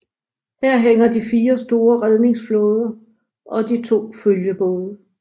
Her hænger de 4 store redningsflåder og de to følgebåde